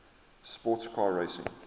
sports car racing